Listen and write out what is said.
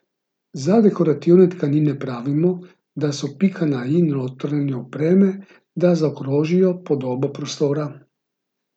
Za dekorativne tkanine pravimo, da so pika na i notranje opreme, da zaokrožijo podobo prostora.